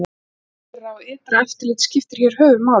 Innra og ytra eftirlit skiptir hér höfuð máli.